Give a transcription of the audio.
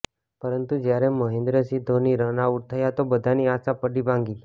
પરંતુ જ્યારે Mahendra Singh Dhoni run out થયા તો બધાની આશા પડી ભાંગી